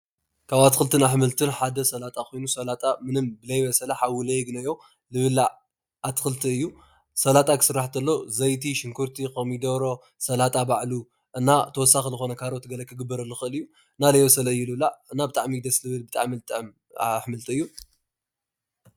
ካብ ኣትክልትን ኣሕምልት ሓደ ሰላጣ ኮይኑ ሰላጣ ዘይበሰለ ሓዊ ዘየግነዮ ዝብላዕ ኣትክልቲ እዩ። ስላጣ ክበሃል እንተሎ ዘይቲ ፣ሽንጉርቲ፣ ኮሚዶሮ፣ ስላጣ ባዕሉ እና ተወሳኪ ዝኮነ ካሮት ክግበረሉ ይክእል እዩ። እና ዘይበሰለ እዩ ዝብላዕ እና ብጣዕሚ እዩ ደስ ባሃሊ ኣሕምልቲ እዩ።